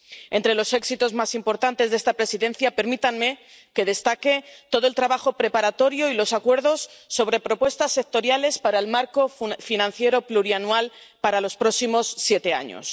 Entre los éxitos más importantes de esta Presidencia permítanme que destaque todo el trabajo preparatorio y los acuerdos sobre propuestas sectoriales para el marco financiero plurianual para los próximos siete años.